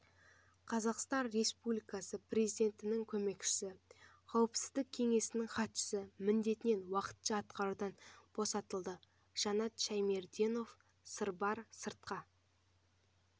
қазақстан республикасы президентінің көмекшісі қауіпсіздік кеңесінің хатшысы міндетін уақытша атқарудан босатылды жанат шәймерденов сырбар сыртқы